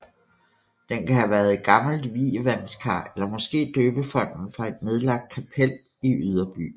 Den kan have været et gammelt vievandskar eller måske døbefonten fra et nedlagt kapel i Yderby